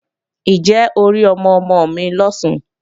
Ǹjẹ́ o rí ọmọ-ọmọ mi lọ̀sán?